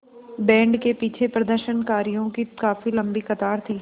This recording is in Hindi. बैंड के पीछे प्रदर्शनकारियों की काफ़ी लम्बी कतार थी